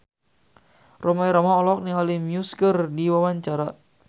Rhoma Irama olohok ningali Muse keur diwawancara